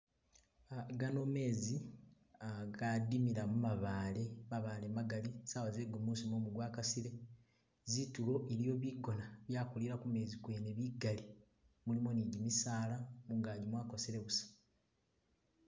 Ah gano mezi gadimila mumabale mabale magali sawa ze gumusi mumu gwa kasile zitulo iliyo bikona byakulira kumezi kwene bikali, mulimo ne gimisala , mungaki mwakosele busa.